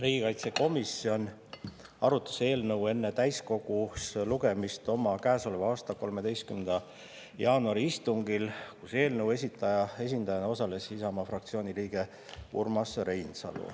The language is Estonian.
Riigikaitsekomisjon arutas eelnõu enne täiskogus lugemist oma käesoleva aasta 13. jaanuari istungil, kus eelnõu esitaja esindajana osales Isamaa fraktsiooni liige Urmas Reinsalu.